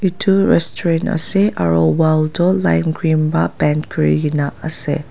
etu restaurant ase aru wall tu lime green pa paint kuri ki na ase.